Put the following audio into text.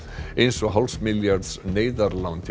eins og hálfs milljarðs neyðarlán til